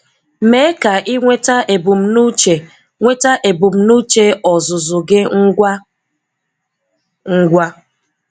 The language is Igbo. Mee ka ị nweta ebumnuche nweta ebumnuche ọzụzụ gị ngwa ngwa